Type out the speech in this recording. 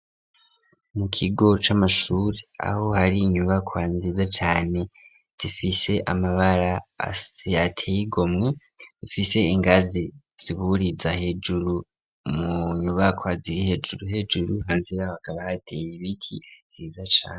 Mu kigo c'amashure aho hari inyubakwa nziza cane zifise amabara asize ateye igomwe zifise ingazi ziburiza hejuru mu nyubakwa ziri hejuru hejuru hanzira bakaba hateye ibiti vyiza cane.